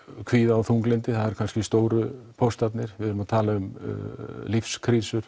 kvíða og þunglyndi það eru kannski stóru póstarnir við erum að tala um